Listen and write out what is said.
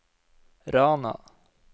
Rana